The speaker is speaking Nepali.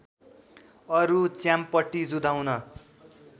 अरू च्याम्पटी जुधाउन